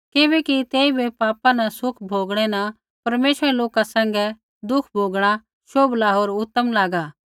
किबैकि तेइबै पापा न सुख भोगणै न परमेश्वरै रै लोका सैंघै दुख भोगणा शोभला होर उतम लागा